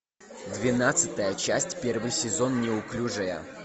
двенадцатая часть первый сезон неуклюжая